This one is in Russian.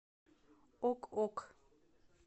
ок ок